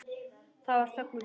Það var þögn við borðið.